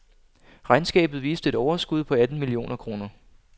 Regnskabet viste et overskud på atten millioner kroner.